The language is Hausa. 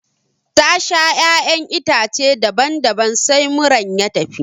Ta sha ƴaƴan itace daban daban sai muran ya tafi